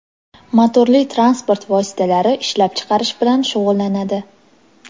motorli transport vositalari ishlab chiqarish bilan shug‘ullanadi.